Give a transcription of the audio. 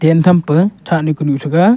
yan thape thani kunu thega.